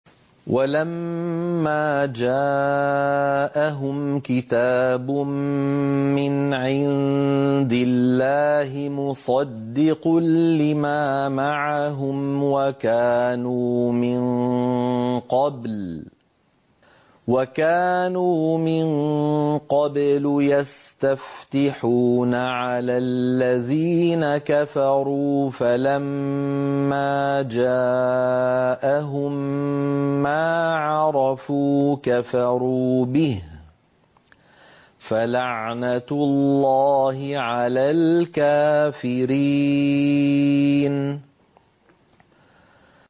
وَلَمَّا جَاءَهُمْ كِتَابٌ مِّنْ عِندِ اللَّهِ مُصَدِّقٌ لِّمَا مَعَهُمْ وَكَانُوا مِن قَبْلُ يَسْتَفْتِحُونَ عَلَى الَّذِينَ كَفَرُوا فَلَمَّا جَاءَهُم مَّا عَرَفُوا كَفَرُوا بِهِ ۚ فَلَعْنَةُ اللَّهِ عَلَى الْكَافِرِينَ